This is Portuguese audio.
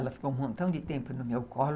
Ela ficou um montão de tempo no meu colo.